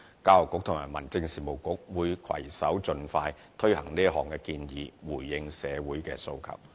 教育局和民政事務局會攜手盡快推行這項建議，回應社會的訴求。